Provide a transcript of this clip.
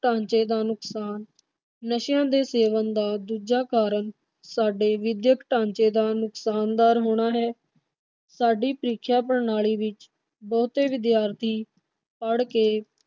ਢਾਂਚੇ ਦਾ ਨੁਕਸਾਨ ਨਸ਼ਿਆਂ ਦੇ ਸੇਵਨ ਦਾ ਦੂਜਾ ਕਾਰਨ ਸਾਡੇ ਵਿਦਿਅਕ ਢਾਂਚੇ ਦਾ ਨੁਕਸਾਨਦਾਰ ਹੋਣਾ ਹੈ। ਸਾਡੀ ਪ੍ਰੀਕਸ਼ਾ ਪ੍ਰਣਾਲੀ ਵਿਚ ਬਹੁਤੇ ਵਿਦਿਆਰਥੀ ਪੜ ਕੇ